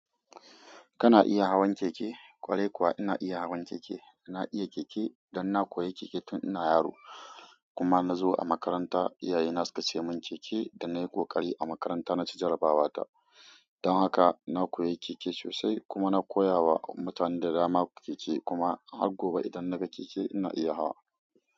Kana iya hawan keke? Kwarai kuwa ina iya hawan keke. Na iya keke dan na koya keke tun ina yaro kuma na zo a makaranta, iyaye na suka sayi mun keke da nayi kokari a makaranta na ci jarabawa ta. Don haka na koyi keke sosai kuma na koya wa mutane da dama keke kuma har gobe idan naga keke ina iya hawa.